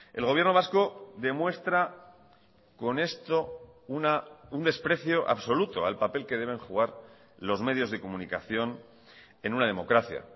el gobierno vasco demuestra con esto un desprecio absoluto al papel que deben jugar los medios de comunicación en una democracia